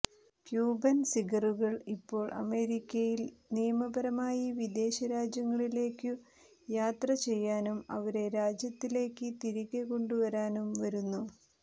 Cuban സിഗറുകൾ ഇപ്പോൾ അമേരിക്കയിൽ നിയമപരമായി വിദേശരാജ്യങ്ങളിലേക്കു യാത്ര ചെയ്യാനും അവരെ രാജ്യത്തിലേക്ക് തിരികെ കൊണ്ടുവരാനും വരുന്നു